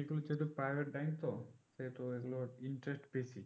এগুলো যেহুতু private bank তো সেহুতু এগুলোর interest বেশি